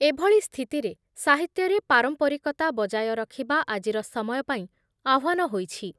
ଏଭଳି ସ୍ଥିତିରେ ସାହିତ୍ୟରେ ପାରମ୍ପରିକତା ବଜାୟ ରଖିବା ଆଜିର ସମୟ ପାଇଁ ଆହ୍ଵାନ ହୋଇଛି ।